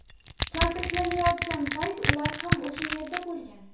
kaltaklanayotgan payt ular ham o‘sha yerda bo‘lgan.